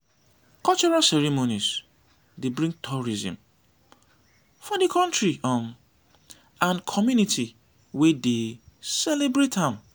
cultural ceremonies dey bring tourism for di country um and community wey dey celebrate am.